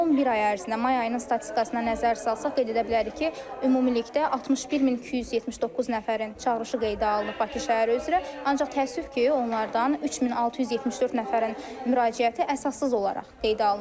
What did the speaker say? Son bir ay ərzində, may ayının statistikasına nəzər salsaq qeyd edə bilərik ki, ümumilikdə 61279 nəfərin çağırışı qeydə alınıb Bakı şəhəri üzrə, ancaq təəssüf ki, onlardan 3674 nəfərin müraciəti əsassız olaraq qeydə alınıb.